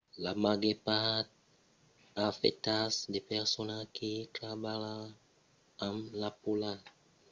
la màger part a afectat de personas que trabalha amb la polalha mas i a tanben qualques riscas pels observaires d'aucèls